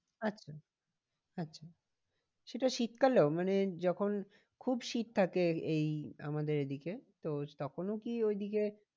আচ্ছা আচ্ছা সেটা শীত কালেও? মানে যখন খুব শীত থাকে এই আমাদের এদিকে তো তখনও কি ঐদিকে